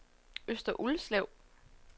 Øster Ulslev